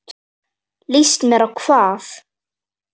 Líst mér á hvað?